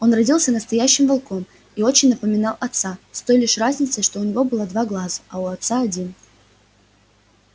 он родился настоящим волком и очень напоминал отца с той лишь разницей что у него было два глаза а у отца один